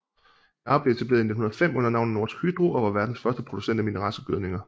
Yara blev etableret i 1905 under navnet Norsk Hydro og var verdens første producent af mineralske gødninger